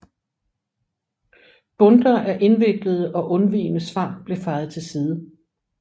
Bundter af indviklede og undvigende svar blev fejet til side